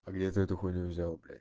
а где ты эту хуйню взял блять